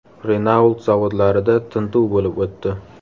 Renault zavodlarida tintuv bo‘lib o‘tdi.